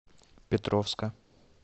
петровска